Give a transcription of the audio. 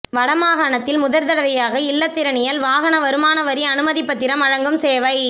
வடமாகாணத்தில் முதற்தடவையாக இலத்திரனியல் வாகன வருமான வரி அனுமதிப்பத்திரம் வழங்கும் சேவை